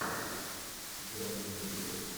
заводи триллер